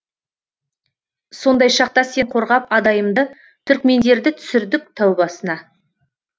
сондай шақта сен қорғап адайымды түркмендерді түсірдік тәубасына